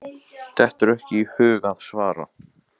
Dettur ekki í hug að svara.